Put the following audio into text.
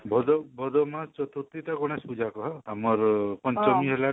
ଭୋଦୁଅ ଭୋଦୁଅ ମାସ ଚର୍ତୁର୍ଥୀ ତ ଗଣେଶ ପୂଜା ଆମର ପଞ୍ଚମୀ ହେଲା